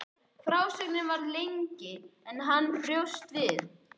Frásögnin varð lengri en hann bjóst við.